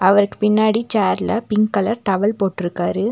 அவருக்கு பின்னாடி சேர்ல பிங்க் கலர் டவல் போட்ருக்காரு.